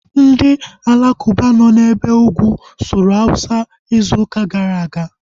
Ndị alakuba nọ na ebe ugwu sụrụ awụsa izu gara aga